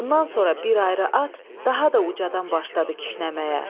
Bundan sonra bir ayrı at daha da ucadan başladı kişnəməyə.